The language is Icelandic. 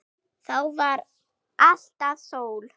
Þá var alltaf sól.